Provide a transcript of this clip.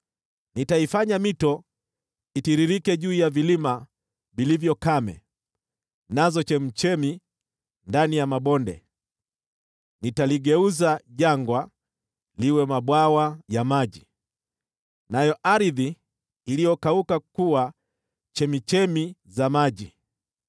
Nitaifanya mito itiririke juu ya vilima vilivyo kame, nazo chemchemi ndani ya mabonde. Nitaligeuza jangwa liwe mabwawa ya maji, nayo ardhi iliyokauka kuwa chemchemi za maji.